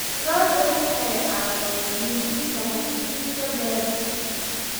Lo'du waxay caawiyaan jiidista xashiishka beerta.